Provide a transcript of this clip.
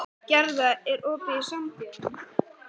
Gerða, er opið í Sambíóunum?